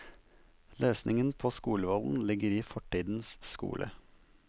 Løsningen på skolevolden ligger i fortidens skole.